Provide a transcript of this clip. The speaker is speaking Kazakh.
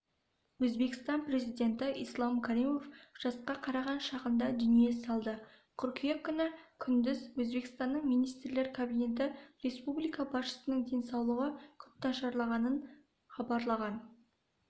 өзбекстан президенті ислам каримов жасқа қараған шағында дүние салды қыркүйек күні күндіз өзбекстанның министрлер кабинеті республика басшысының денсаулығы күрт нашарлағанын хабарлаған